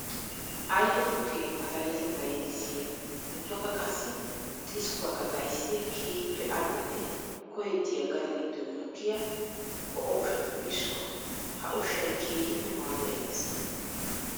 Ayfe tukke azalatetta yeddissiya ubbakka qassi xiskkuwakka xayssiya keehippe ali'onne koyettiya gade gidon mokkiya ho'o ushshatuppe issuwa. Ha ushshay keehippe maaduwa imees.